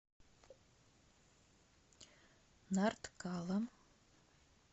нарткала